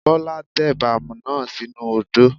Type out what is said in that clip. Bọ́lá tẹ̀bà náà sínu odó.